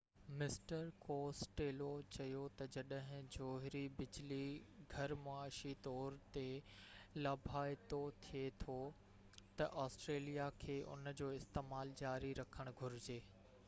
mister Costello چيو تہ جڏهن جوهري بجلي گهر معاشي طور تي لاڀائتو ٿي ٿو تہ آسٽريليا کي ان جو استعمال جاري رکڻ گهرجي